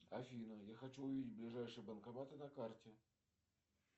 афина я хочу увидеть ближайшие банкоматы на карте